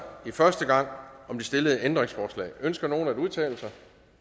i første omgang om de stillede ændringsforslag ønsker nogen at udtale sig